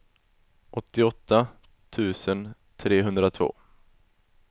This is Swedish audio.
åttioåtta tusen trehundratvå